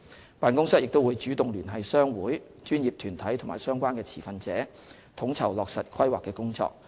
該辦公室亦會主動聯繫商會、專業團體和相關持份者，統籌落實《規劃》的工作。